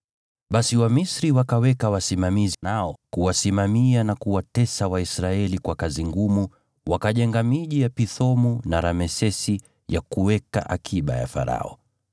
Basi Wamisri wakaweka wasimamizi wa kuwasimamia na kuwatesa Waisraeli kwa kazi ngumu, nao wakajenga miji ya Pithomu na Ramesesi ya kuweka akiba ya Farao.